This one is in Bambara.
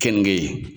Keninge